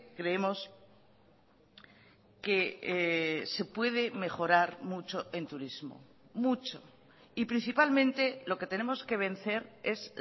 creemos que se puede mejorar mucho en turismo mucho y principalmente lo que tenemos que vencer es